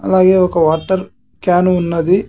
అలాగే ఒక water can ఉన్నది .